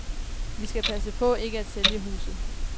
Vi skal passe på ikke at sælge huset.